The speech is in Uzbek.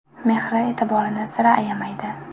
Mehri, e’tiborini sira ayamaydi.